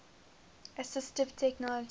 assistive technology